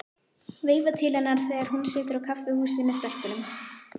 Veifa til hennar þegar hún situr á kaffihúsi með stelpunum.